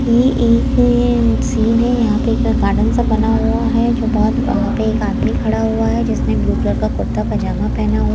ये एक सीन है यहां पे एक गार्डन सा बना हुआ है जो बहोत वहां पे एक आदमी खड़ा हुआ है जिसने ब्लू कलर का कुर्ता पजामा पेहना हु--